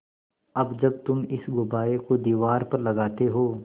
अब जब तुम इस गुब्बारे को दीवार पर लगाते हो